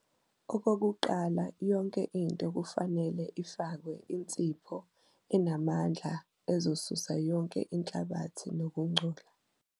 Okokuqala yonke into kufanele ifakwe insipho enamandla ezosusa yonke inhlabathi nokungcola.